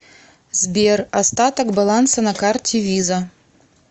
сбер остаток баланса на карте виза